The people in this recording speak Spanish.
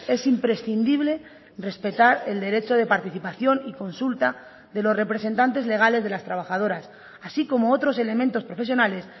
es imprescindible respetar el derecho de participación y consulta de los representantes legales de las trabajadoras así como otros elementos profesionales